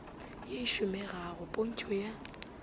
ye e šomegago pntšho ya